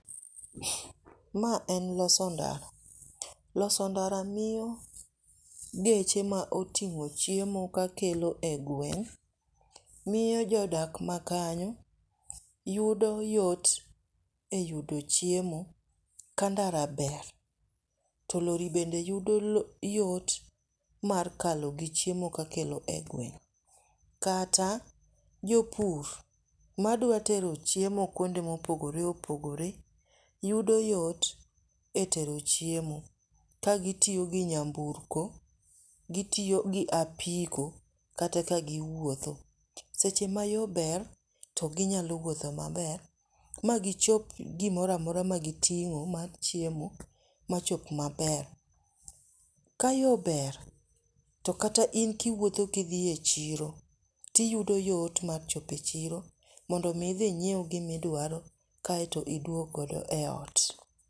Ma en loso ndara, loso ndara miyo geche ma oting'o chiemo kakelo e gweng' miyo jodak makanyo yudo yot e yudo chiemo ka ndara ber. To lorry bende yudo yot mar kalo gi chiemo kakelo e gweng' kata jopur madwa tero chiemo kuonde mopogore opogore yudo yot etero chiemo kagitiyo gi nyamburko, gitiyo gi apiko kata ka giwuotho. Seche ma yo ber to ginyalo wuotho maber magichop gimoro amora magiting'o mar chiemo machop maber. Ka yo ber to kata in kiwuotho ka idhi e chiro to iyudo yot mar chopo e chiro mondo idhi inyiew gima idwaro kaeto iduog godo eot.